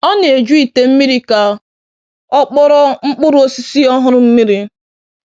Ọ na-eju ite mmiri ka ọ kpọrọọ mkpụrụ osisi ọhụrụ mmiri